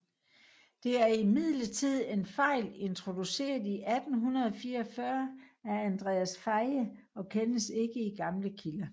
Det er imidlertid en fejl introduceret i 1844 af Andreas Faye og kendes ikke i gamle kilder